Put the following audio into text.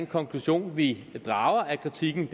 konklusioner vi drager af kritikken